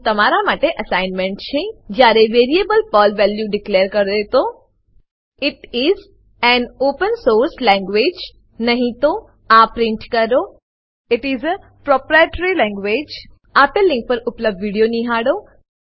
અહીં તમારા માટે અસાઇનમેન્ટ છે જયાએ વેરીએબલ પર્લ વેલ્યુ ડિક્લેર કરેતો it is an open source language નહી તો આ પ્રિન્ટ કરો આઇટીએસ એ પ્રોપ્રાઇટરી લેન્ગ્વેજ આપેલ લીંક પર ઉપલબ્ધ વિડીયો નિહાળો